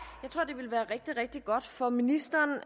jeg rigtig godt for ministeren